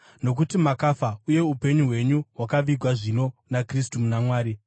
Nokuti makafa, uye upenyu hwenyu hwakavigwa zvino naKristu muna Mwari.